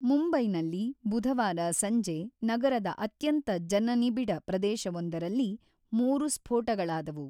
ಮುಂಬೈನಲ್ಲಿ ಬುಧವಾರ ಸಂಜೆ ನಗರದ ಅತ್ಯಂತ ಜನನಿಬಿಡ ಪ್ರದೇಶವೊಂದರಲ್ಲಿ ಮೂರು ಸ್ಫೋಟಗಳಾದವು.